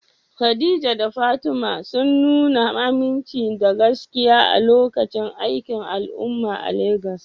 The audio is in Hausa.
Khadija da Fatima sun nuna aminci da gaskiya a lokacin aikin al'umma a Legas.